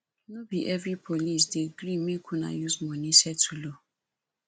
no be every policeman dey gree make una use money settle o